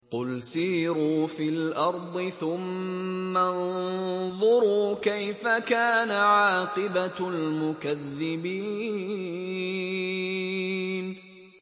قُلْ سِيرُوا فِي الْأَرْضِ ثُمَّ انظُرُوا كَيْفَ كَانَ عَاقِبَةُ الْمُكَذِّبِينَ